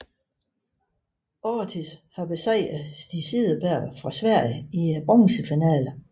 Ortiz besejrede Stig Cederberg fra Sverige i bronzefinalen